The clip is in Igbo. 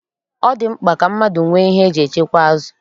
Ọ dị mkpa ka mmadụ nwee ihe eji echekwa azụ.